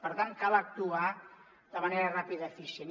per tant cal actuar de manera ràpida i eficient